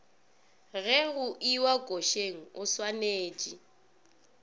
ge go iwa košeng oswanetše